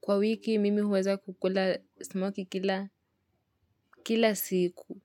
Kwa wiki mimi huweza kukula smokie kila kila siku.